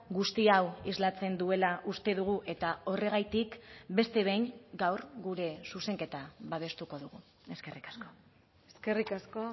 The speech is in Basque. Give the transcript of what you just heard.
guzti hau islatzen duela uste dugu eta horregatik beste behin gaur gure zuzenketa babestuko dugu eskerrik asko eskerrik asko